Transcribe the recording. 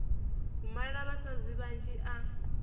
u mala vhasadzi vhanzhi a